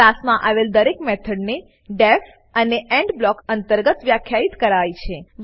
ક્લાસમાં આવેલ દરેક મેથોડ ને ડીઇએફ અને એન્ડ બ્લોક અંતર્ગત વ્યાખ્યિત કરાય છે